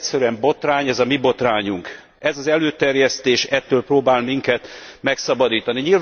Ez egyszerűen botrány, ez a mi botrányunk. Ez az előterjesztés ettől próbál minket megszabadítani.